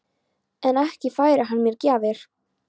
En ekki færir hann mér gjafir.